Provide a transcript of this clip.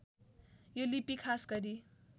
यो लिपि खास गरी